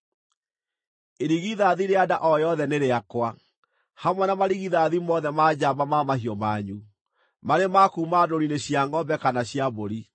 “Irigithathi rĩa nda o yothe nĩ rĩakwa, hamwe na marigithathi mothe ma njamba ma mahiũ manyu, marĩ ma kuuma ndũũru-inĩ cia ngʼombe kana cia mbũri.